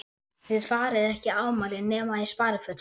Þið farið ekki í afmæli nema í sparifötunum.